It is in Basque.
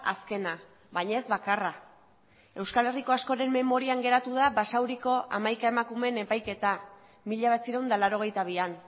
azkena baina ez bakarra euskal herriko askoren memorian geratu da basauriko hamaika emakumeen epaiketa mila bederatziehun eta laurogeita bian